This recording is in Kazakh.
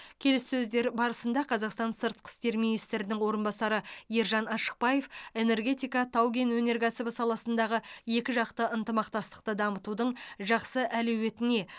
келіссөздер барысында қазақстан сыртқы істер министрінің орынбасары ержан ашықбаев энергетика тау кен өнеркәсібі саласындағы екіжақты ынтымақтастықты дамытудың жақсы әлеуетіне